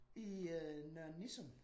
I øh Nørre Nissum